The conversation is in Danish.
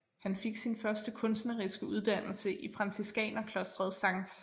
Han fik sin første kunstneriske uddannelse i franciskanerklostret Skt